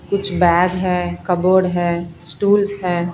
कुछ बैग है कबोर्ड है स्टूल्स है।